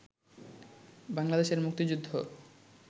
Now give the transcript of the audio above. বাংলাদেশের মুক্তিযুদ্ধ